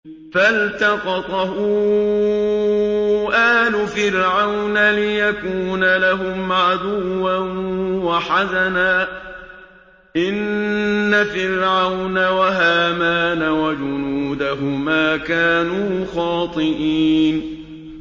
فَالْتَقَطَهُ آلُ فِرْعَوْنَ لِيَكُونَ لَهُمْ عَدُوًّا وَحَزَنًا ۗ إِنَّ فِرْعَوْنَ وَهَامَانَ وَجُنُودَهُمَا كَانُوا خَاطِئِينَ